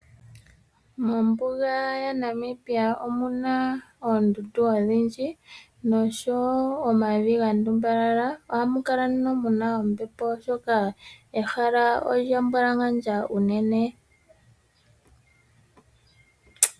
Mombuga yaNamibia omuna oondundu odhindji noshowo omavi ga ndumbalala. Ohamu kala nduno muna ombepo oshoka ehala olya mbwalangandja unene.